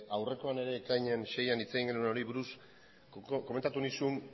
aurrekoan ere ekainean seian hitz egin genuen hori buruz komentatu nizun